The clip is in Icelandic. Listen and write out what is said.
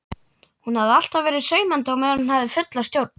Hún hafi alltaf verið saumandi meðan hún hafði fulla sjón.